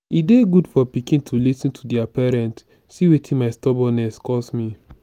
e dey good for pikin to lis ten to their parents see wetin my stubbornness cause me